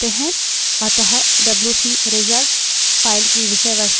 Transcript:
अतः WC result file की विषयवस्तु अधिलेखित हो जायेगी